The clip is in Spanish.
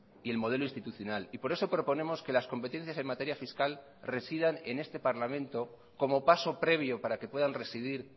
y el modelo institucional y por eso proponemos que las competencias en materia fiscal residan en este parlamento como paso previo para que puedan residir